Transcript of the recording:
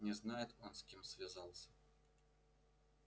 не знает он с кем связался